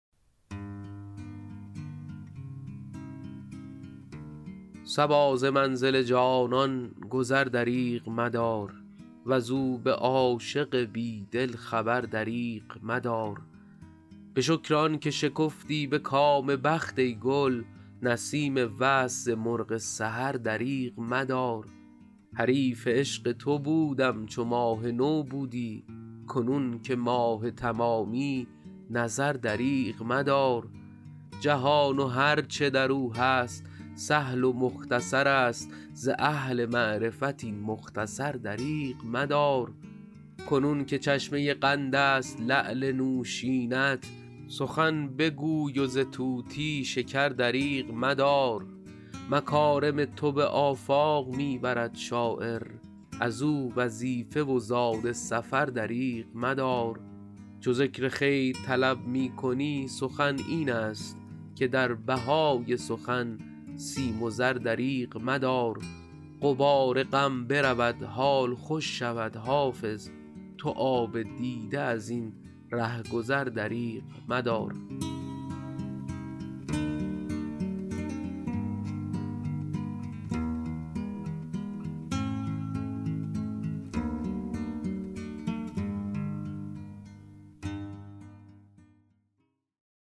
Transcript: صبا ز منزل جانان گذر دریغ مدار وز او به عاشق بی دل خبر دریغ مدار به شکر آن که شکفتی به کام بخت ای گل نسیم وصل ز مرغ سحر دریغ مدار حریف عشق تو بودم چو ماه نو بودی کنون که ماه تمامی نظر دریغ مدار جهان و هر چه در او هست سهل و مختصر است ز اهل معرفت این مختصر دریغ مدار کنون که چشمه قند است لعل نوشین ات سخن بگوی و ز طوطی شکر دریغ مدار مکارم تو به آفاق می برد شاعر از او وظیفه و زاد سفر دریغ مدار چو ذکر خیر طلب می کنی سخن این است که در بهای سخن سیم و زر دریغ مدار غبار غم برود حال خوش شود حافظ تو آب دیده از این ره گذر دریغ مدار